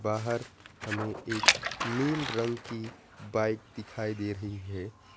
बाहर हमें एक नील रंग की बाइक दिखाई दे रही है।